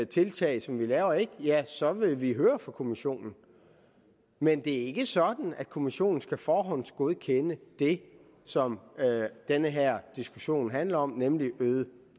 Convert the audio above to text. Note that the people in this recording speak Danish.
tiltag som vi laver ikke er det ja så vil vi høre fra kommissionen men det er ikke sådan at kommissionen skal forhåndsgodkende det som den her diskussion handler om nemlig øget